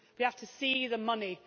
We have to see the money.